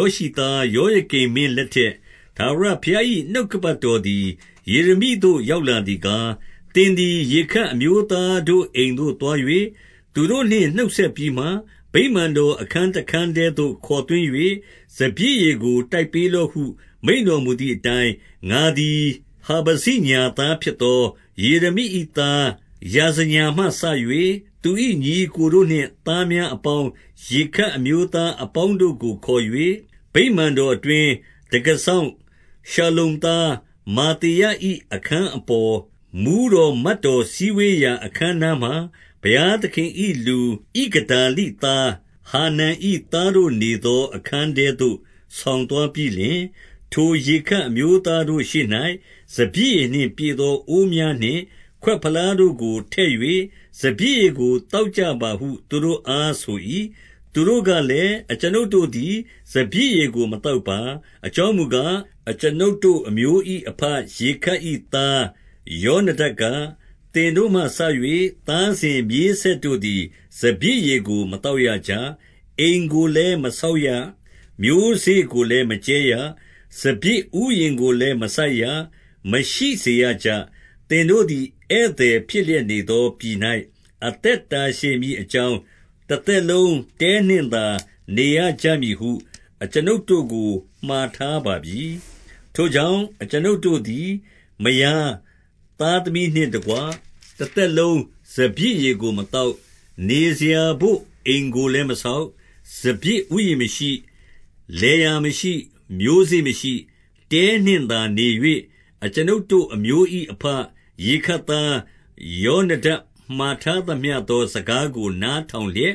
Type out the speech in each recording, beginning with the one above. ောရှိသား ယောယကိမ်မင်း လက်ထက်၊ ထာဝရဘုရား၏ နှုတ်ကပတ်တော်သည် ယေရမိသို့ ရောက်လာသည်ကား၊ 2 သင်သည်ရေခပ်အမျိုးသားတို့အိမ်သို့သွား၍၊ သူတို့နှင့်နှုတ်ဆက် ပြီးမှ၊ ဗိမာန်တော် အခန်းတခန်းထဲသို့ ခေါ်သွင်း၍ စပျစ်ရည်ကိုတိုက်ပေးလော့ဟု မိန့်တော်မူ သည်အတိုင်း၊ 3 ငါသည် ဟာဗဇိညာသားဖြစ်သော ယေရမိ၏ သား ယာဇညာမှစ၍၊ သူ၏ညီအစ်ကိုတို့နှင့် သားများ အပေါင်း၊ ရေခပ်အမျိုးသားအပေါင်းတို့ကို ခေါ်၍၊ 4 ဗိမာန်တော်အတွင်း၊ တံခါးစောင့်ရှလ္လုံသား မာသေယ၏ အခန်းအပေါ်၊ မှူးတော်မတ်တော် စည်းဝေး ရာအခန်းနားမှာ ဘုရားသခင်၏လူ ဣဂဒါလိသား ဟာနန်၏သားတို့ နေသောအခန်းထဲသို့ ဆောင်သွား ပြီးလျှင်၊ 5 ထိုရေခပ် အမျိုးသားတို့ရှေ့၌ စပျစ်ရည်နှင့် ပြည့်သောအိုးများနှင့် ခွက်ဖလားတို့ကိုထည့်၍၊ စပျစ်ရည် ကို သောက်ကြပါဟု သူတို့အား ဆို၏။ 6 သူတို့ကလည်း၊ အကျွန်ုပ်တို့သည် စပျစ်ရည်ကို မသောက်ပါ။ အကြောင်းမူကား၊ အကျွန်ုပ်တို့အမျိုး၏ အဘရေခပ်၏ သားယောနဒပ်က၊ သင်တို့မှစ၍ သားစဉ် မြေးဆက်တို့သည် စပျစ်ရည်ကို မသောက်ရကြ။ 7 အိမ်ကိုလည်း မဆောက်ရ၊ မျိုးစေ့ကိုလည်း မကြဲရ၊ စပျစ်ဥယျာဉ်ကိုလည်းမစိုက်ရ၊ မရှိစေရကြ။ သင်တို့သည် ဧည့်သည်ဖြစ်လျက်နေသော ပြည်၌ အသက်တာရှည်မည်အကြောင်း၊ တသက်လုံး တဲနှင့်သာ နေရကြမည်ဟု အကျွန်ုပ်တို့ကို မှာထားပါပြီ။ 8 ထိုကြောင့်၊ အကျွန်ုပ်တို့သည် မယားသားသမီး နှင့်တကွ တသက်လုံးစပျစ်ရည်ကိုမသောက်။ 9 နေစရာဘို့အိမ်ကိုလည်း မဆောက်။ စပျစ် ဥယျာဉ်မရှိ။ လယ်ယာမရှိ၊ မျိုးစေ့မရှိ။ 10 တဲနှင့်သာ နေ၍ အကျွန်ုပ်တို့အမျိုး၏ အဘ ရေခပ်သား ယောနဒပ် မှာထားသမျှသော စကားကို နားထောင်လျက်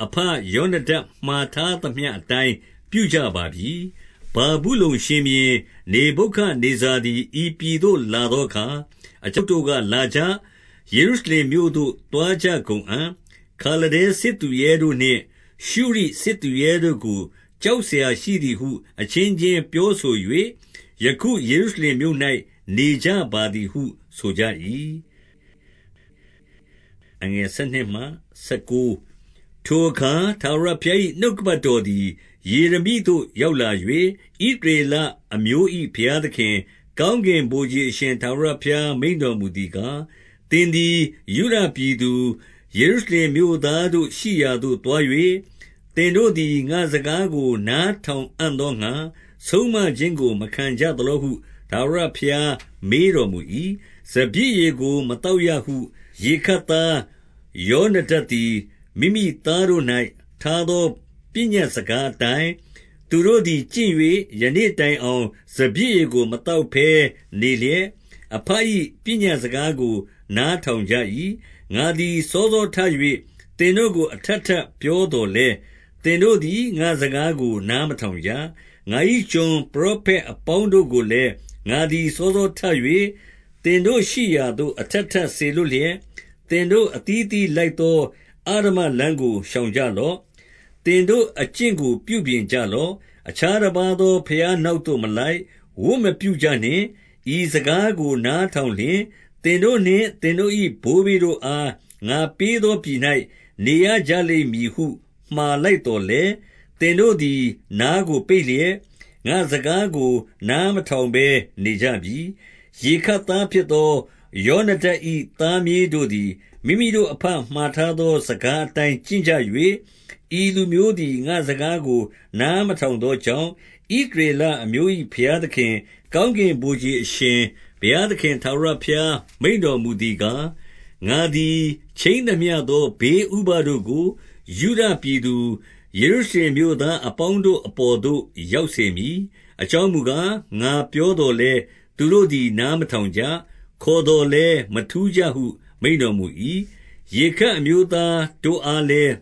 ၊ အဘယောနဒပ်မှာ ထားသမျှအတိုင်း ပြုကြပါပြီ။ 11 ဗာဗုလုန်ရှင်ဘုရင် နေဗုခဒ်နေဇာသည် ဤ ပြည်သို့ လာသောအခါ၊ အကျွန်ုပ်တို့က၊ လာကြ။ ယေရု ရှလင်မြို့သို့ သွားကြကုန်အံ့။ ခါလဒဲစစ်သူရဲတို့နှင့် ရှုရိစစ်သူရဲတို့ကို ကြောက်စရာရှိသည်ဟု အချင်းချင်း ပြောဆို၍၊ ယခုယေရှုရှလင်မြို့၌ နေကြပါသည်ဟု ဆိုကြ၏။ 12 ထိုအခါ ထာဝရဘုရား၏ နှုတ်ကပတ်တော် သည် ယေရမိသို့ ရောက်လာ၍၊ 13 ဣသရေလအမျိုး၏ဘုရားသခင်၊ ကောင်းကင် ဗိုလ်ခြေ အရှင်ထာဝရဘုရား မိန့်တော်မူသည်ကား၊ သင်သည်ယုဒပြည်သူ၊ ယေရှုရှလင်မြို့သားတို့ ရှိရာသို့ သွား၍၊ သင်တို့သည် ငါ့စကားကို နားထောင် အံ့သောငှါ ဆုံးမခြင်းကို မခံကြသလောဟု ထာဝရဘုရား မေးတော် မူ၏။ 14 စပျစ်ရည်ကို မသောက်ရဟု၊ ရေခပ်သားယောန ဒပ်သည် မိမိ သားတို့၌ ထားသော ပညတ်စကားအတိုင်း၊ သူတို့သည် ကျင့်၍ ယနေ့တိုင်အောင် စပျစ်ရည်ကို မသောက်ဘဲနေလျက်၊ အဘ၏ပညတ်စကားကို နား ထောင်ကြ၏။ ငါသည် စောစောထ၍ သင်တို့ကို အထပ် ထပ် ပြောသော်လည်း၊ သင်တို့သည် ငါ့စကားကို နား မထောင်ကြ။ 15 ငါ၏ကျွန်ပရောဖက်အပေါင်းတို့ကိုလည်း၊ ငါသည်စောစောထ၍ သင်တို့ရှိရာသို့ အထပ်ထပ် စေလွှတ်လျက်၊ သင်တို့အသီးအသီးလိုက်သော အဓမ္မ လမ်းကို ရှောင်ကြလော့။ သင်တို့အကျင့်ကို ပြုပြင်ကြ လော့။ အခြားတပါးသော ဘုရားနောက်သို့မလိုက်၊ ဝတ်မပြုကြနှင့်။ ဤစကားကို နားထောင်လျှင်၊ သင်တို့ နှင့်သင်တို့၏ဘိုးဘေးတို့အား ငါပေးသောပြည်၌ နေရကြ လိမ့်မည်ဟု မှာလိုက်သော်လည်း၊ သင်တို့သည် နားကိုပိတ် လျက်၊ ငါ့စကားကို နားမထောင်ဘဲ နေကြပြီ။ 16 ရေခပ်သားဖြစ်သော ယောနဒပ်၏ သားမြေးတို့ သည် မိမိတို့ အဘမှာထားသော စကားအတိုင်းကျင့်ကြ၍၊ ဤလူမျိုးသည် ငါ့စကားကို နားမထောင်သောကြောင့်၊ 17 ဣသရေလအမျိုး၏ဘုရားသခင်၊ ကောင်းကင် ဗိုလ်ခြေအရှင် ဘုရားသခင် ထာဝရဘုရား မိန့်တော်မူ သည်ကား၊ ငါသည်ခြိမ်းသမျှသော ဘေးဥပဒ်တို့ကို ယုဒပြည်သူ၊ ယေရှုရှလင်မြို့သား အပေါင်းတို့အပေါ်သို့ ရောက်စေမည်။ အကြောင်းမူကား၊ ငါပြောသော်လည်း၊ သူတို့သည် နား မထောင်ကြ။ ခေါ်သောလည်းမထူးကြဟု မိန့်တော်မူ၏။ 18 ရေခပ်အမျိုးသားတို့အားလည်း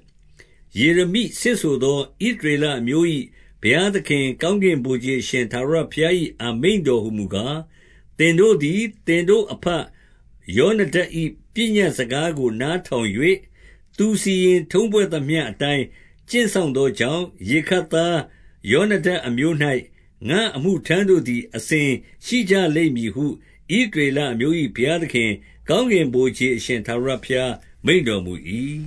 ၊ ယေရမိဆင့်ဆို သော၊ ဣသရေလအမျိုး၏ ဘုရားသခင်၊ ကောင်းကင် ဗိုလ်ခြေအရှင် ထာဝရ ဘုရား၏ အမိန့်တော်ဟူမူကား၊ သင်တို့သည် သင်တို့အဘယောနဒပ်၏ ပညတ်စကားကို နားထောင်၍၊ သူစီရင်ထုံးဖွဲ့သမျှအတိုင်း ကျင့်စောင့် သောကြောင့်၊ 19 ရေခပ်ယောနဒပ်အမျိုး၌ ငါ့အမှုထမ်းတို့သည် အစဉ်ရှိကြလိမ့်မည်ဟု ဣသရေလအမျိုး၏ဘုရားသခင်၊ ကောင်းကင်ဗိုလ်ခြေအရှင် ထာဝရဘုရားမိန့်တော်မူ၏။